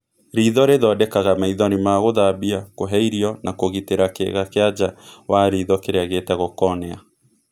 Riitho rĩthondekaga maithori ma gũthambia, kũhe irio na kũgitĩra kĩĩga kĩa nja wa riitho kĩrĩa gĩtagwo cornea.